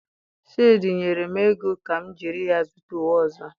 Shade nyere m ego ka m jiri ya zụta uwe ọzọ.